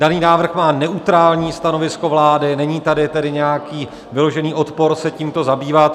Daný návrh má neutrální stanovisko vlády, není tady tedy nějaký vyložený odpor se tímto zabývat.